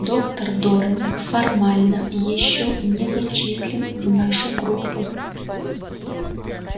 доктор дорник формально ещё не зачислен в нашу группу